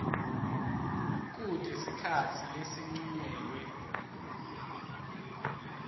kute sikhatsi lesincunyelwe